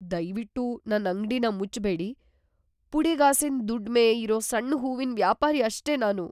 ದಯ್ವಿಟ್ಟು ನನ್ ಅಂಗ್ಡಿನ ಮುಚ್ಬೇಡಿ. ಪುಡಿಗಾಸಿನ್ ದುಡ್ಮೆ ಇರೋ ಸಣ್ಣ ಹೂವಿನ್ ವ್ಯಾಪಾರಿ ಅಷ್ಟೇ ನಾನು.